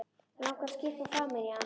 Langar að skyrpa framan í hann.